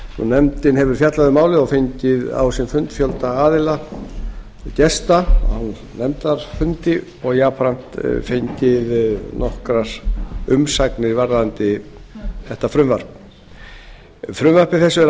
nefndin hefur fjallað um málið og fengið á sinn fund fjölda gesta og jafnframt fengið nokkrar umsagnir varðandi frumvarpið frumvarpi þessu er